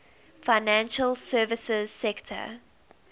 financial services sector